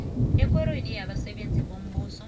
ekorweni yabasebenzi bombuso